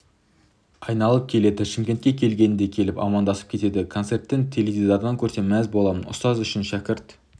айналып келеді шымкентке келгенінде келіп амандасып кетеді концерттен теледидардан көрсем мәз боламын ұстаз үшін шәкірт